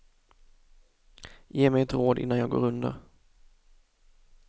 Ge mig ett råd innan jag går under.